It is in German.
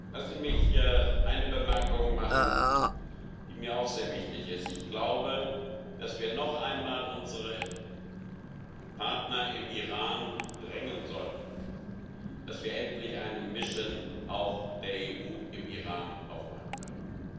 Lassen Sie mich eine Bemerkung machen, die mir auch sehr wichtig ist. Ich glaube, dass wir noch einmal unsere Partner im Iran drängen sollten, dass wir endlich auch eine Mission der EU im Iran aufmachen können.